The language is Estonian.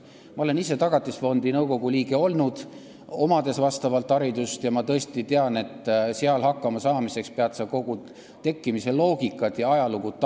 Ma olen ise Tagatisfondi nõukogu liige olnud, mul on ka vastav haridus, ja ma tõesti tean, et seal hakkama saamiseks peab tajuma kogu selle tekkimise loogikat ja ajalugu.